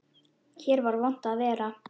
Hér var vont að vera.